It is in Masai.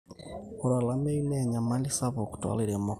ore olameyu naa enyamali sapuk toolairemok